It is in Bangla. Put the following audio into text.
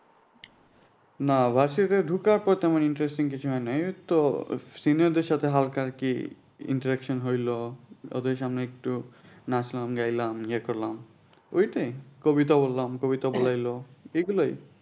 না ঢোকার পথে আমার interesting কিছু হয় নাই ওই তো senior দের সাথে হালকা আর কি interaction ওদের সামনে একটু নাচলাম গাইলাম ইয়ে করলাম ওইটাই কবিতা বললাম কবিতা বলাইলো এগুলোই